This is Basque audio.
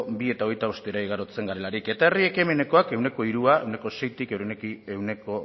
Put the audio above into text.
bi koma hogeita bostera igarotzen garelarik eta herri ekimenekoak ehuneko hirua ehuneko seitik ehuneko